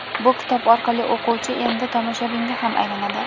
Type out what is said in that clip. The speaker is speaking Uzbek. Bu kitob orqali o‘quvchi endi tomoshabinga ham aylanadi.